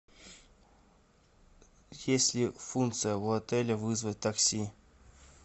есть ли функция в отеле вызвать такси